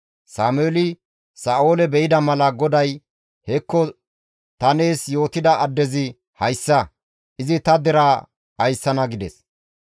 Sameeli Sa7oole be7ida mala GODAY, «Hekko ta nees yootida addezi hayssa; izi ta deraa ayssana» gides.